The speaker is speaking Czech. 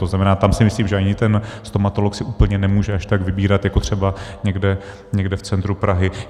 To znamená, tam si myslím, že ani ten stomatolog si úplně nemůže až tak vybírat jako třeba někde v centru Prahy.